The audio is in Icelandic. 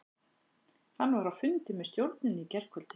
Hann var á fundi með stjórninni í gærkvöldi.